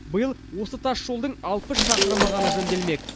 биыл осы тасжолдың алпыс шақырымы ғана жөнделмек